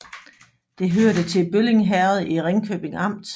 Det hørte til Bølling Herred i Ringkøbing Amt